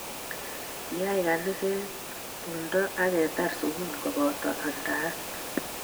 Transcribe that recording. Kiyay kaniset tumdo ab ketar sukul kobato amndaet